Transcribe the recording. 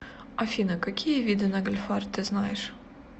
афина какие виды нагльфар ты знаешь